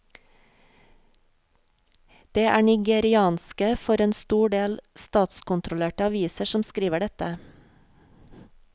Det er nigerianske, for en stor del statskontrollerte aviser som skriver dette.